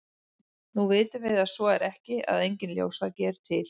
nú vitum við að svo er ekki og að enginn ljósvaki er til